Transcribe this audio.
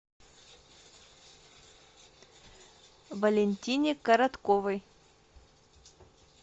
валентине коротковой